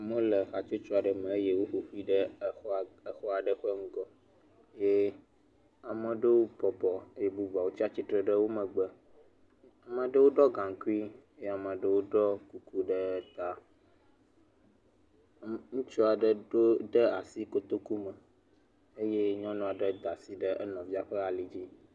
Ameha aɖewo le xɔ kɔkɔ aɖe gbɔ, ɖewole atsitre, ɖewo bɔbɔ ɖewo dze klo kuku le ta na ŋutsu aɖewo le wo dome.